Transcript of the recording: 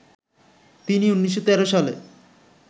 তিনি ১৯১৩ সালে